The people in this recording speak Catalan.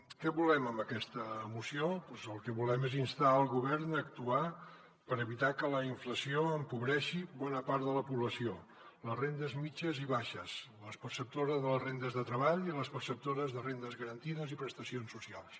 què volem amb aquesta moció doncs el que volem és instar el govern a actuar per evitar que la inflació empobreixi bona part de la població les rendes mitjanes i baixes les perceptores de les rendes de treball i les perceptores de les rendes garantides i prestacions socials